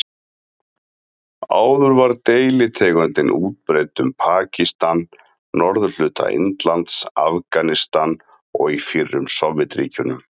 Áður var deilitegundin útbreidd um Pakistan, norðurhluta Indlands, Afganistan og í fyrrum Sovétríkjunum.